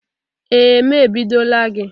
Ee m ebidola gị.